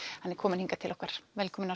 hann er kominn hingað til okkar velkominn